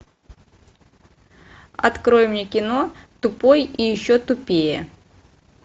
открой мне кино тупой и еще тупее